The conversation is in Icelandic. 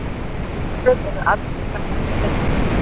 árfætlur eru algeng krabbadýr sem lifa víða